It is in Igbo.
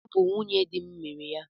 Ọ bụ nwunye di m mere ya